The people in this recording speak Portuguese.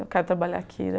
Eu quero trabalhar aqui.